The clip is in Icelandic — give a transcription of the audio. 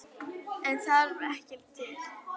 En það þarf ekki til.